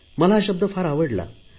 मला हा शब्द फार आवडला